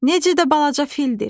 Necə də balaca fildir?